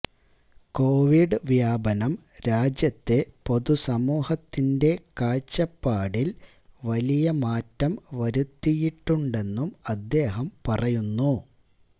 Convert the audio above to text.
Covid വ്യാപനം രാജ്യത്തെ പൊതു സമൂഹത്തിൻറെ കാഴ്ചപ്പാടിൽ വലിയ മാറ്റം വരുത്തിയിട്ടുണ്ടെന്നും അദ്ദേഹം പറയുന്നു